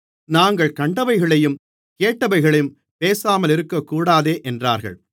நாங்கள் கண்டவைகளையும் கேட்டவைகளையும் பேசாமலிருக்கக்கூடாதே என்றார்கள்